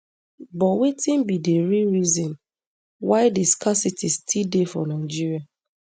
but wetin be di real reason why di scarcity still dey for nigeria